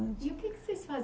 E o que vocês